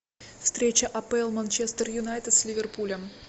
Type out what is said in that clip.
встреча апл манчестер юнайтед с ливерпулем